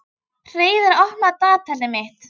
Hreiðar, opnaðu dagatalið mitt.